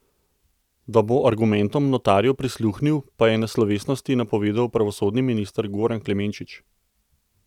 Da bo argumentom notarjev prisluhnil, pa je na slovesnosti napovedal pravosodni minister Goran Klemenčič.